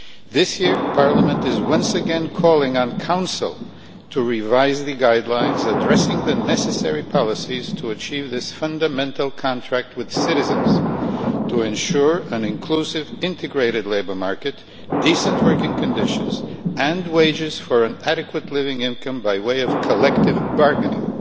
This year, Parliament is once again calling on the Council to revise the guidelines addressing the necessary policies to achieve this fundamental contract with citizens to ensure an inclusive integrated labour market, decent working conditions and wages for an adequate living income by way of collective bargaining.